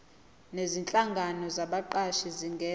nezinhlangano zabaqashi zingenza